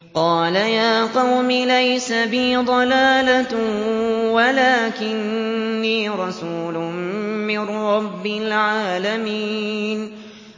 قَالَ يَا قَوْمِ لَيْسَ بِي ضَلَالَةٌ وَلَٰكِنِّي رَسُولٌ مِّن رَّبِّ الْعَالَمِينَ